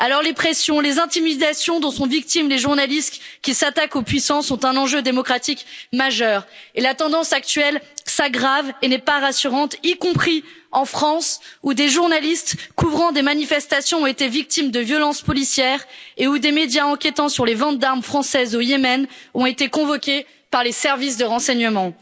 Les pressions, les intimidations dont sont victimes les journalistes qui s'attaquent aux puissants sont un enjeu démocratique majeur et la tendance actuelle s'aggrave et n'est pas rassurante, y compris en France, où des journalistes couvrant des manifestations ont été victimes de violences policières et où des médias enquêtant sur les ventes d'armes françaises au Yémen ont été convoqués par les services de renseignement.